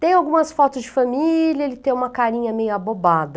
Tem algumas fotos de família, ele tem uma carinha meio abobada.